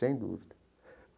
Sem dúvida.